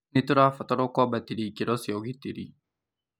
Nĩ tũrabatarwo kwambatĩria ikĩro cia ũgitĩrĩ